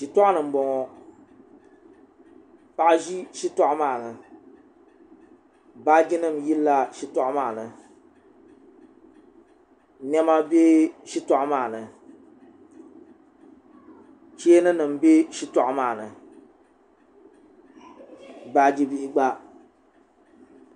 shitoɣu ni n boŋo paɣa ʒi shitoɣu maa ni baaji nim yilila shitoɣu maa ni niɛma bɛ shitoɣu maa ni cheeni nim bɛ shitoɣu maa ni baaji bihi gba